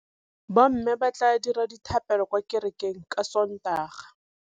Bommê ba tla dira dithapêlô kwa kerekeng ka Sontaga.